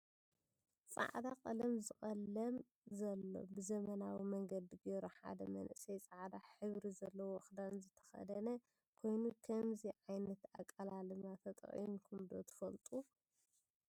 ፃዕዳ ቀለም ዝቀልም ዘሎ ብዘመናዊ መንገዲ ገይሩ ሓደ መንእሰይ ፃዕዓ ሕብሪ ዘለዎ ክዳን ዝተከደነ ኮይኑ ክምዚ ዓይነት ኣቀላልማ ተጠቅምኩም ዶ ትፈልጡ?